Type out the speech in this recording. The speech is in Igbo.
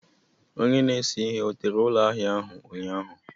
Onye na-ese ihe ọ tere ụlọ ahịa ahụ ụnyaahụ?